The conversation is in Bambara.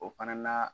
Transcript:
O fana na